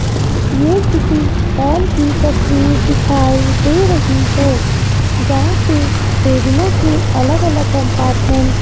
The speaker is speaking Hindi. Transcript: ये किसी हाल की तस्वीर दिखाई दे रही है जहां पे टेबलों के अलग अलग कंपार्टमेंट --